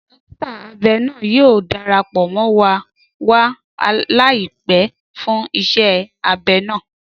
Dọkita abẹ naa yoo darapọ mọ wa laipẹ fun iṣẹ abẹ naa.